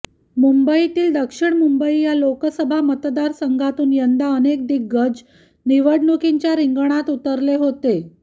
मुंबईतील दक्षिण मुंबई या लोकसभा मतदारसंघातून यंदा अनेक दिग्गज निवडणुकीच्या रिंगणात उतरले होते